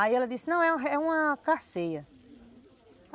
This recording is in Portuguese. Aí ela disse, não, é uma carceia.